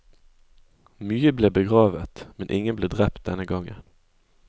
Mye ble begravet, men ingen ble drept denne gangen.